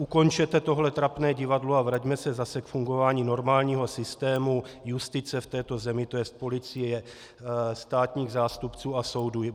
Ukončete tohle trapné divadlo a vraťme se zase k fungování normálního systému justice v této zemi, to jest policie, státních zástupců a soudů.